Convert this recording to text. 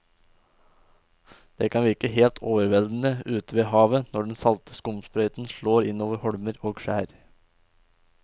Det kan virke helt overveldende ute ved havet når den salte skumsprøyten slår innover holmer og skjær.